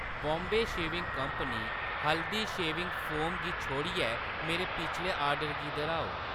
Bombay shaving company Haldi shaving foam गी छोड़ियै मेरे पिछले आर्डर गी दर्‌हाओ।